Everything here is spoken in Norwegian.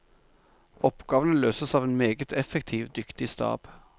Oppgavene løses av en meget effektiv, dyktig stab.